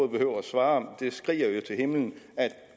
behøver at svare det skriger jo til himlen at